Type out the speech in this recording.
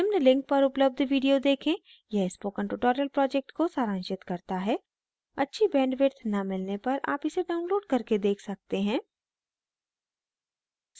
निम्न link पर उपलब्ध video देखें यह spoken tutorial project को सारांशित करता है अच्छी bandwidth न मिलने पर आप इसे download करके देख सकते हैं